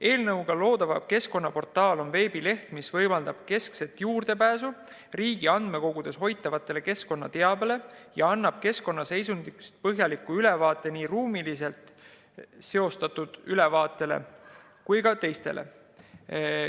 Eelnõuga loodav keskkonnaportaal on veebileht, mis võimaldab keskset juurdepääsu riigi andmekogudes hoitavale keskkonnateabele ja annab keskkonnaseisundist põhjaliku ülevaate, nii ruumiliselt seostatud ülevaate kui ka muu.